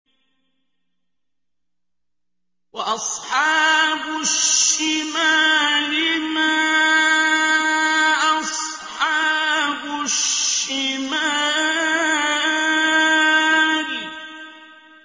وَأَصْحَابُ الشِّمَالِ مَا أَصْحَابُ الشِّمَالِ